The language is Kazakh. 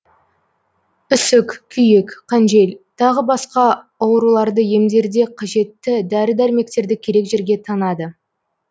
үсік күйік қанжел тағы басқа ауруларды емдерде қажетті дәрі дәрмектерді керек жерге таңады